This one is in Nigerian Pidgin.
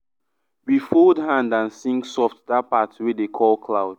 we fold hand and sing soft that part wey dey call cloud.